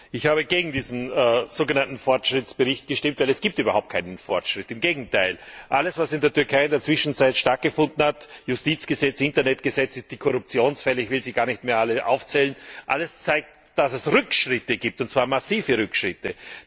Ich habe gegen diesen sogenannten Fortschrittsbericht gestimmt, weil es überhaupt keinen Fortschritt gibt. Im Gegenteil Alles, was in der Türkei in der Zwischenzeit stattgefunden hat Justizgesetze, Internetgesetze, die Korruptionsfälle, ich will sie gar nicht mehr alle aufzählen alles zeigt, dass es Rückschritte gibt, und zwar massive Rückschritte.